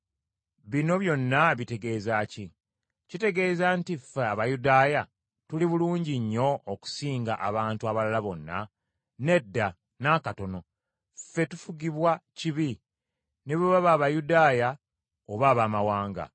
Bino byonna bitegeeza ki? Kitegeeza nti ffe Abayudaaya tuli bulungi nnyo okusinga abantu abalala bonna? Nedda, n’akatono. Ffenna tufugibwa kibi, ne bwe baba Abayudaaya oba Abaamawanga.